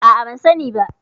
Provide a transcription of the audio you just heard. A'a, ban sani ba.